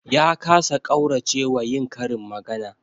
Ya kasa ƙaurace wa yin karin magana